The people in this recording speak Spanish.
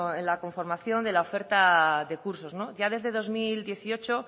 en la conformación de la oferta de cursos no ya desde dos mil dieciocho